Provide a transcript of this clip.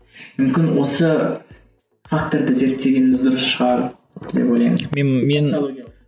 мүмкін осы факторды зерттегеніміз дұрыс шығар деп ойлаймын